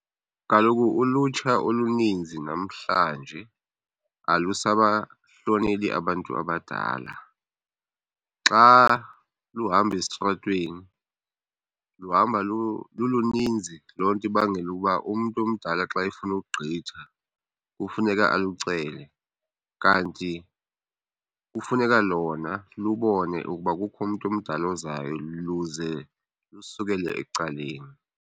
Kaloku ulutsha oluninzi namhlanje alusabahloneli abantu abadala. Xa luhamba esitratweni luhamba luluninzi. Loo nto ibangela uba umntu omdala xa efuna ukugqitha kufuneka alucele, kanti kufuneka lona lubone ukuba kukho umntu omdala ozayo luze lusukele ecaleni.